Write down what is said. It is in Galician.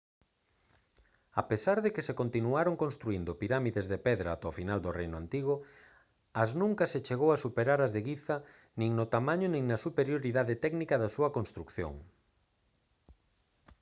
a pesar de que se continuaron construíndo pirámides de pedra ata o final do reino antigo as nunca se chegou a superar as de guiza nin no tamaño nin na superioridade técnica da súa construción